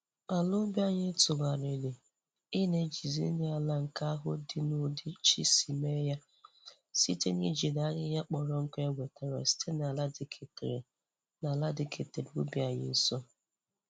Ala ubi anyị tugharịrị i na-ejizi nri ala nke ahụ dị n'ụdị Chi si mee ya site n'ijiri ahihịa kpọrọ nkụ e wetara site n'ala diketere n'ala diketere ubi anyị nso.